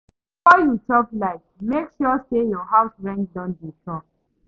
Before you chop life, make sure say your house rent don dey sure.